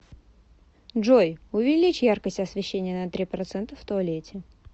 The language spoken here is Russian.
джой увеличь яркость освещения на три процента в туалете